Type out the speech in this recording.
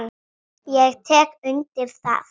Ég tek ekki undir það.